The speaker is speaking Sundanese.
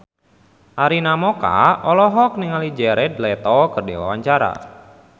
Arina Mocca olohok ningali Jared Leto keur diwawancara